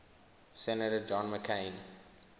senator john mccain